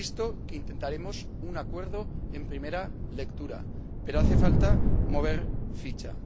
Insisto en que intentaremos alcanzar un acuerdo en primera lectura, pero hace falta mover ficha.